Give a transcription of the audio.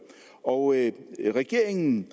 og regeringen